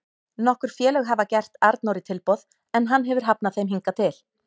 Nokkur félög hafa gert Arnóri tilboð en hann hefur hafnað þeim hingað til.